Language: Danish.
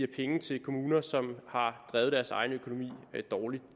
penge til kommuner som har drevet deres egen økonomi dårligt